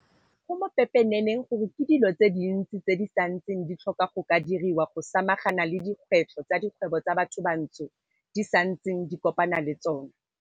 Go mo pepeneneng gore ke dilo tse dintsi tse di santseng di tlhoka go ka diriwa go samagana le dikgwetlho tse dikgwebo tsa bathobantsho di santseng di kopana le tsona.